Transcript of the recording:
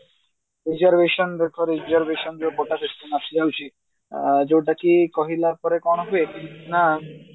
reservation ଦେଖ reservation ହଉଛି ଅ ଯୋଉଟା କି କହିଲା ପରେ କଣ ହୁଏ ନା